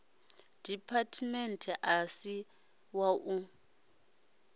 department a si wa u